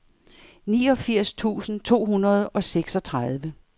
niogfirs tusind to hundrede og seksogtredive